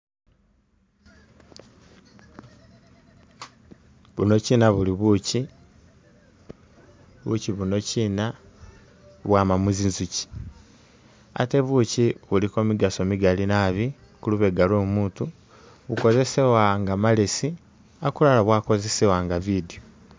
Buno china buli buchi, buchi buno china bwama mu zinzuchi ate buchi buliko migaaso migali naabi kulubega lwomutu, bukosesewa nga malesi akulala bwakosesewa nga bidyo